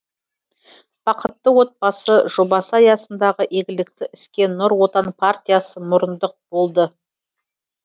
бақытты отбасы жобасы аясындағы игілікті іске нұр отан партиясы мұрындық болды